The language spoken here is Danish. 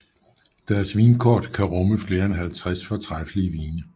Deres vinkort kan rumme flere end 50 fortræffelige vine